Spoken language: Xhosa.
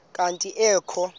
kanti ee kho